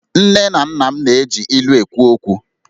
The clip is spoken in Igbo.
Nne na nna m na-eji ilu na-ekwu okwu